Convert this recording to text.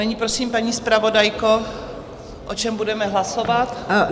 Nyní prosím, paní zpravodajko, o čem budeme hlasovat?